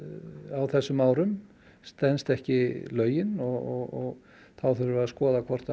á þessum árum stenst ekki lögin og þá þurfum við að skoða hvort